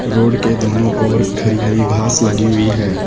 Road के दोनों ओर हरी हरी घास लगी हुई है।